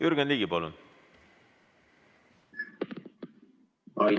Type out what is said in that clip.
Jürgen Ligi, palun!